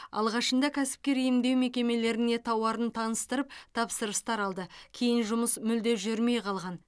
алғашында кәсіпкер емдеу мекемелеріне тауарын таныстырып тапсырыстар алды кейін жұмыс мүлде жүрмей қалған